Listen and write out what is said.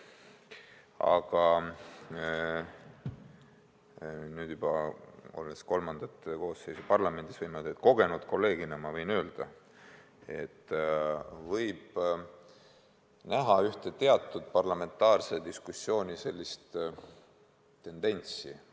Aga olles nüüd juba kolmandat koosseisu parlamendis, võin kogenud kolleegina öelda, et võib näha parlamentaarse diskussiooni teatud tendentsi.